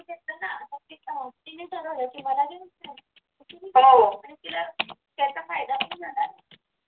तिने ठरवलं कि मला हे आणि तिला त्याचा फायदा सुद्धा झाला आहे.